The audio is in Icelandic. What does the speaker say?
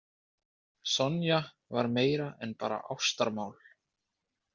Sonja var meira en bara ástarmál.